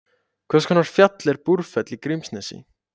Hvers konar fjall er Búrfell í Grímsnesi?